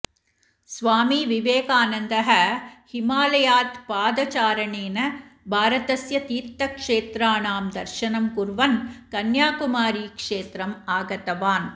स्वामी विवेकानन्दः हिमालयात् पादचारणेन भारतस्य तीर्थक्षेत्राणां दर्शनं कुर्वन् कन्याकुमारीक्षेत्रम् आगतवान्